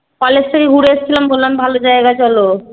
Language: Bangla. College থেকে ঘুরে আসছিলাম বললাম ভালো জায়গায় চলো